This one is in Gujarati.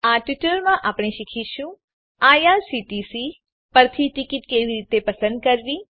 આ ટ્યુટોરીયલમાં આપણે શીખીશું કે આઇઆરસીટીસી પરથી ટીકીટ કેવી રીતે પસંદ કરવી